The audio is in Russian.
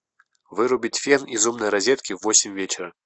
вырубить фен из умной розетки в восемь вечера